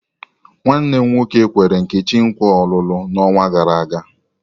Nwanne m nwoke nkwere Nkechi nkwa olulu n'ọnwa gara aga.